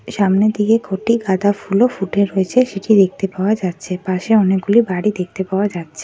সামনের দিকে কটি গাঁদা ফুলও ফুটে রয়েছে সেটি দেখতে পাওয়া যাচ্ছে। পাশে অনেকগুলি বাড়ি দেখতে পাওয়া যাচ্ছে।